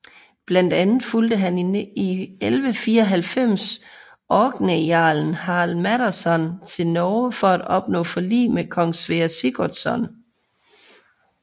Blandt andet fulgde han i 1194 orkneyjarlen Harald Maddadsson til Norge for at opnå forlig med kong Sverre Sigurdsson